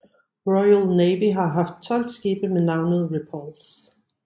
Royal Navy har haft 12 skibe med navnet Repulse